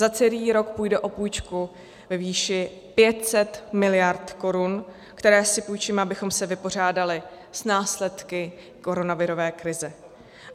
Za celý rok půjde o půjčku ve výši 500 miliard korun, které si půjčíme, abychom se vypořádali s následky koronavirové krize.